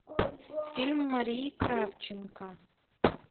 фильм марии кравченко